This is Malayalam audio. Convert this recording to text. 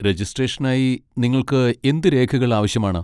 രജിസ്ട്രേഷനായി നിങ്ങൾക്ക് എന്ത് രേഖകൾ ആവശ്യമാണ്?